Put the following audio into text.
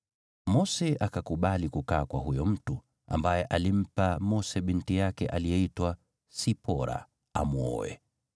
Mose akakubali kukaa kwa huyo mtu, ambaye alimpa Mose binti yake aliyeitwa Sipora amwoe.